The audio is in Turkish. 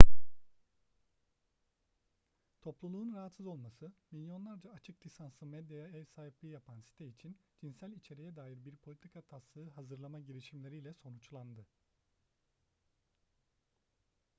topluluğun rahatsız olması milyonlarca açık lisanslı medyaya ev sahipliği yapan site için cinsel içeriğe dair bir politika taslağı hazırlama girişimleriyle sonuçlandı